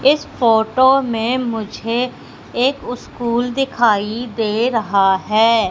इस फोटो में मुझे एक स्कूल दिखाई दे रहा है।